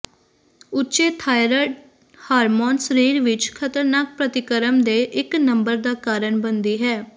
ਉੱਚੇ thyroid hormone ਸਰੀਰ ਵਿਚ ਖਤਰਨਾਕ ਪ੍ਰਤੀਕਰਮ ਦੇ ਇੱਕ ਨੰਬਰ ਦਾ ਕਾਰਨ ਬਣਦੀ ਹੈ